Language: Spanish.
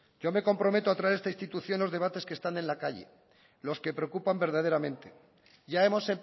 yo me comprometo a traer a esta institución los debates que están en la calle los que preocupan verdaderamente ya hemos